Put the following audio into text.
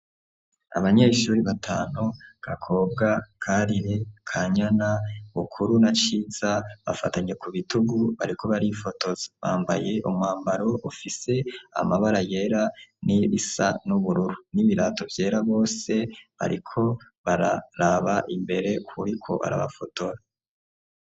Abanyeshuri batanu: Gakobwa, Karire, Kanyana, Bukuru na Ciza; bafatanye ku bitugu, bariko barifotoza; bambaye umwambaro, ufise amabara yera, n'irisa n'ubururu, n'ibirato vyera, bose bariko bararaba imbere, k'uwuriko arabafotora.